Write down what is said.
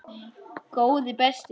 Góði besti!